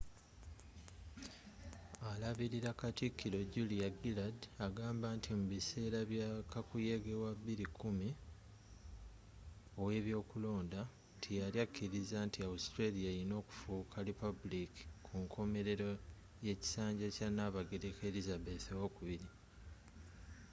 alabirila katikiro julia gillard agamba nti mu biseera bya kakuyege wa 2010 ow'ebyokulondanti yali akiriza nti autralia erina okufuuka lipabuliiki kunkomelero y'ekisanja kya nabagereka elizabeth ii